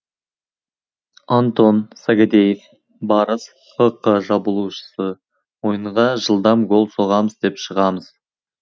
антон сагадеев барыс хк шабуылшысы ойынға жылдам гол соғамыз деп шығамыз